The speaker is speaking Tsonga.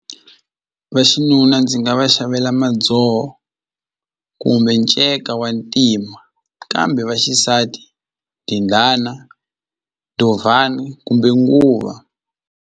Vaxinuna ndzi nga va xavela kumbe nceka wa ntima kambe va xisati kumbe nguva.